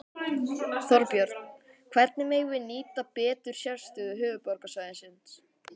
Þorbjörn: Hvernig megum við nýta betur sérstöðu höfuðborgarsvæðisins?